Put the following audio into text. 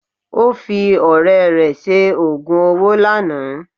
Ó fi ọ̀rẹ́ rẹ̀ ṣe ogún owo lánàá